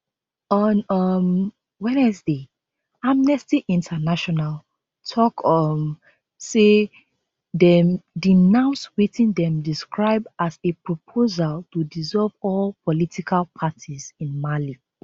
on um wednesday amnesty international tok um say dem denounce wetin dem describe as a proposal to dissolve all political parties in mali